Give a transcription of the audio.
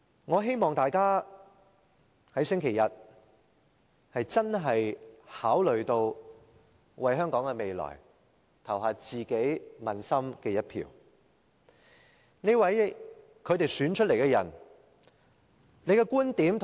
我希望大家在星期日考慮到香港的未來，投下自己問心無愧的一票。